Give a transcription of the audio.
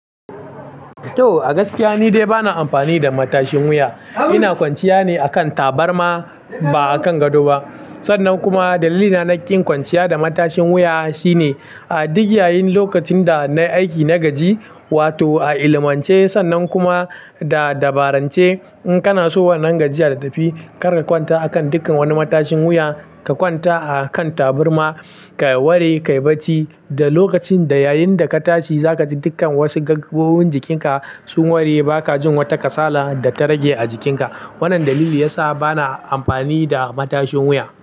To, a gaskiya ni dai bana amfani da matashin wuya. Ina kwanciya ne akan tabarma ba akan gado ba. Sannan kuma dalilina na ƙin kwanciya da matashin wuya shine a duk yayin lokacin da nayi aiki na gaji, wato a ilimance sannan kuma da dabarance in kana so wannan gajiyar ta tafi kar ka kwanta akan dukkan wani matashin wuya. Ka kwanta a kan tabarma ka wari ka yi bacci da lokacin da yayin da ka tashi za ka ji dukkan wasu gajiyoyin jikinka sun wari ba ka jin wata kasala da ta rage a jikinka. Wannan dalili ya sa bana amfani da matashin wuya.